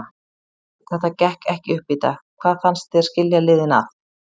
Þetta gekk ekki upp í dag, hvað fannst þér skilja liðin að?